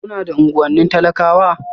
Kuna daga unguwannin talakawa?